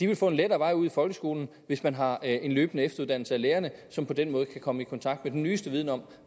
vil få en lettere vej ud i folkeskolen hvis man har en løbende efteruddannelse af lærerne som på den måde kan komme i kontakt med den nyeste viden om